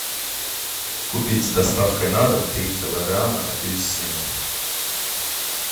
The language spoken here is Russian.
купить с доставкой на дом три килограмма апельсинов